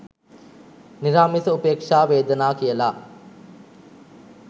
නිරාමිස උපේක්ෂා වේදනා කියල.